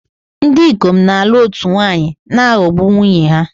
Ndị ikom na-alụ otu nwaanyị na-aghọgbu nwunye ha